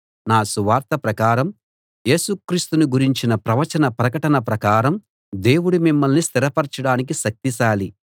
నా సువార్త ప్రకారం యేసు క్రీస్తును గురించిన ప్రవచన ప్రకటన ప్రకారం దేవుడు మిమ్మల్ని స్థిరపరచడానికి శక్తిశాలి